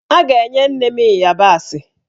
A ga-enye nne m ịyabasị